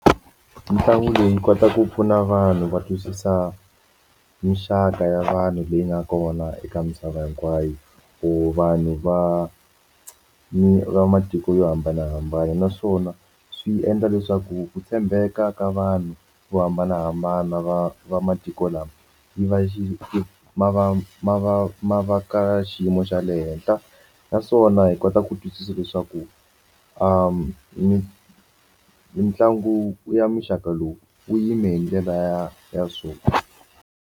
Mitlangu leyi kotaka ku pfuna vanhu va twisisa minxaka ya vanhu leyi nga kona eka misava hinkwayo or vanhu va va matiko yo hambanahambana naswona swi endla leswaku ku tshembeka ka vanhu vo hambanahambana va va matiko lama yi va yi ma va ma va ma va ka xiyimo xa le henhla naswona hi kota ku twisisa leswaku mitlangu ya muxaka lowu wu yime hi ndlela ya ya so.